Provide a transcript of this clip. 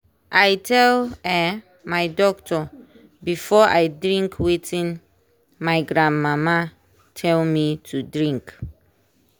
i tell um my doctor before i drink watin my gran mama tell me to drink.